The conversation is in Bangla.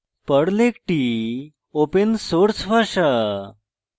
perl একটি open source ভাষা